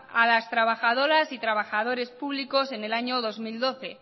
a las trabajadoras y trabajadores públicos en el año dos mil doce